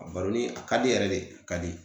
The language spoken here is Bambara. A baronni a ka di yɛrɛ de a ka di